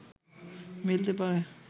মিলতে পারে